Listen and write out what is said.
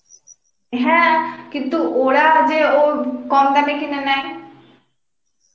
হ্যাঁ কিন্তু ওরা যে ওর কম দামে কিনে নেয়